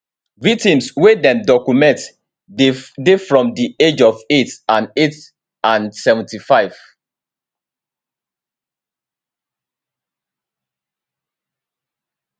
victims wey dem document dey from di age of eight and eight and 75 years